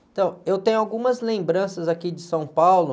Então, eu tenho algumas lembranças aqui de São Paulo.